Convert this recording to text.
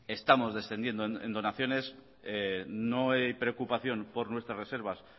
estamos descendiendo en donaciones no hay preocupación por nuestras reservas